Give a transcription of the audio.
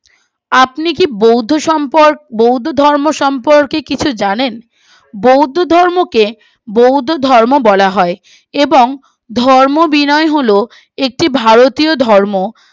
আপনি কি বৌদ্ধ সম্প বৌদ্ধ ধর্ম সম্পর্কে কিছু জানেন বৌদ্ধ ধর্মকে বৌদ্ধ ধর্ম বলা হয় এবং ধর্ম বিনয় গুলো একটি ভারতীয় ধর্ম